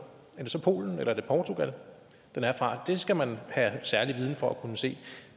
er det så polen eller portugal den er fra det skal man have særlig viden for at kunne se